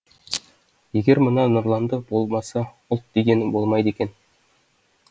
егер мына нұрландар болмаса ұлт дегенің болмайды екен